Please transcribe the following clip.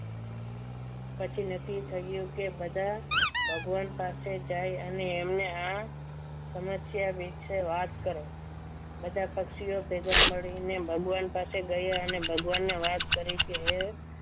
પછી નક્કી થયું કે બધા ભગવાન પાસે જાય અને એમને આ સમસ્યા વિશે વાત કરી બધા પક્ષીઓ ભેગા મળીને ભગવાન પાસે ગયા અને ભગવાનને વાત કરી કે હે